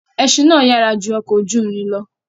Ẹṣin náà yára ju ọ̀kọ̀ ojú ìrìn lọ̀.